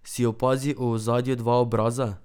Si opazil v ozadju dva obraza?